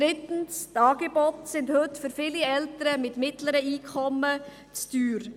Drittens sind heute die Angebote für viele Eltern mit mittleren Einkommen zu teuer.